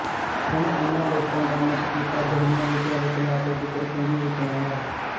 ਹੁਣ ਇਨ੍ਹਾਂ ਲੋਕਾਂ ਦਾ ਮੁੱਖ ਕਿੱਤਾ ਜੜੀਆਂ ਬੂਟੀਆ ਵੇਚਣਾ ਅਤੇ ਗਿੱਦੜ ਸਿੰਘੀ ਵੇਚਣਾ ਹੈ